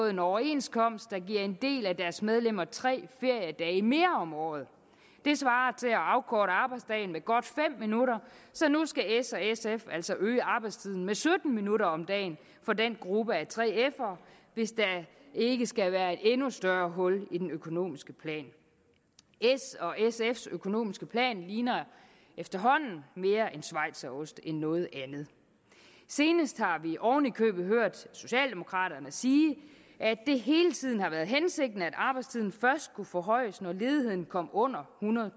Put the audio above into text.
en overenskomst der gav en del af deres medlemmer tre feriedage mere om året det svarer til at afkorte arbejdsdagen med godt fem minutter så nu skal s og sf altså øge arbejdstiden med sytten minutter om dagen for den gruppe af 3f’ere hvis der ikke skal være et endnu større hul i den økonomiske plan s og sfs økonomiske plan ligner efterhånden mere en schweizerost end noget andet senest har vi oven i købet hørt socialdemokraterne sige at det hele tiden har været hensigten at arbejdstiden først skulle forhøjes når ledigheden kom under